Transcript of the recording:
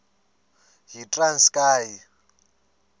yitranskayi